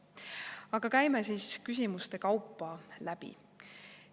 Aga käime siis küsimuste kaupa läbi.